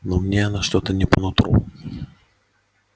но мне она что-то не по нутру